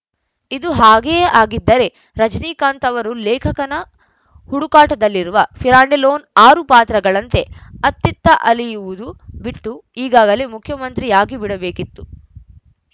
ಇದು ಹಾಗೆಯೇ ಆಗಿದ್ದರೆ ರಜನಿಕಾಂತ್‌ ಅವರು ಲೇಖಕನ ಹುಡುಕಾಟದಲ್ಲಿರುವ ಪಿರಾಂಡೆಲ್ಲೋನ ಆರು ಪಾತ್ರಗಳಂತೆ ಅತ್ತಿತ್ತ ಅಲೆಯುವುದು ಬಿಟ್ಟು ಈಗಾಗಲೇ ಮುಖ್ಯಮಂತ್ರಿಯಾಗಿಬಿಡಬೇಕಿತ್ತು